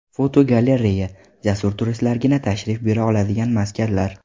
Fotogalereya: Jasur turistlargina tashrif buyura oladigan maskanlar.